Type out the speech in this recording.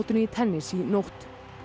í tennis í nótt